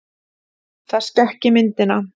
Það skekki myndina.